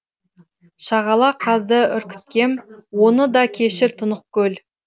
шағала қазды үркіткем оны да кешір тұнық көл